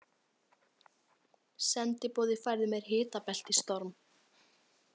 Sendiboði færði mér hitabeltisstorm.